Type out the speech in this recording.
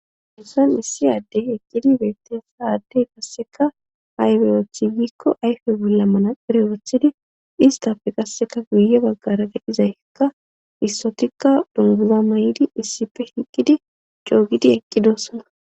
Unsan issi addey eqqidi beetteessa addey kasseka haybeyothi wiikko ayfe bullamana erewothidi istapfe qasseka guye baggara gedhizay hekka issotikka dunguza may7idi issife hiqqidi coogidi eqqidossana.